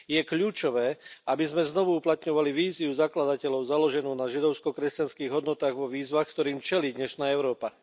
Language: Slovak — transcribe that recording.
Je kľúčové, aby sme znovu uplatňovali víziu zakladateľov založenú na židovsko kresťanských hodnotách vo výzvach, ktorým čelí dnešná Európa.